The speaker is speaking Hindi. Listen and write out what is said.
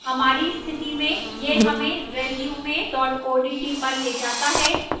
हमारी स्थिति में यह हमें resume odt पर ले जाता है